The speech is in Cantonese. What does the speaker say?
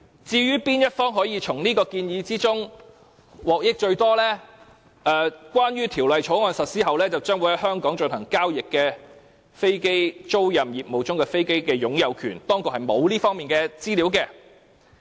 "至於哪一方可從此項建議中得益最多，政府當局解釋，關於條例草案實施後將會在香港進行交易的飛機租賃業務中的飛機的擁有權，當局並無這方面的資料。